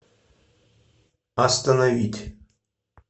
остановить